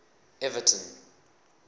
everton